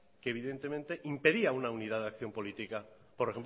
que evidentemente impedía una unidad de acción política por